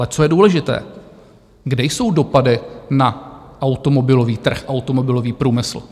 Ale co je důležité, kde jsou dopady na automobilový trh, automobilový průmysl?